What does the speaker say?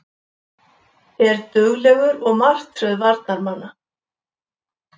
Er duglegur og martröð varnarmanna.